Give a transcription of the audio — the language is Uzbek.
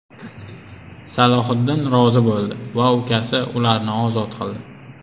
Salohiddin rozi bo‘ldi va ukasi ularni ozod qildi.